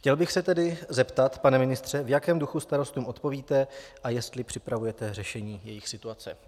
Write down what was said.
Chtěl bych se tedy zeptat, pane ministře, v jakém duchu starostům odpovíte a jestli připravujete řešení jejich situace.